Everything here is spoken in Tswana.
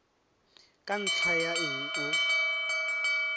ka ntlha ya eng o